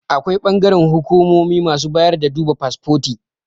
Akwai bangaren hukumomi masu bayar da duba fasfoti